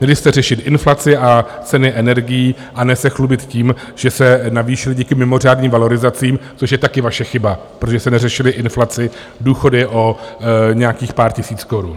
Měli jste řešit inflaci a ceny energií a ne se chlubit tím, že se navýšily díky mimořádným valorizacím, což je taky vaše chyba, protože jste neřešili inflaci, důchody o nějakých pár tisíc korun.